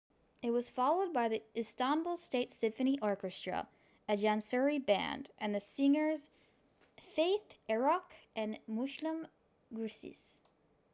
it was followed by the istanbul state symphony orchestra a janissary band and the singers fatih erkoç and müslüm gürses